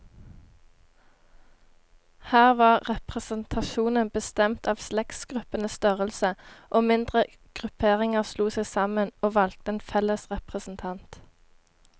Her var representasjonen bestemt av slektsgruppenes størrelse, og mindre grupperinger slo seg sammen, og valgte en felles representant.